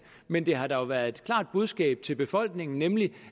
men det har dog været et klart budskab til befolkningen nemlig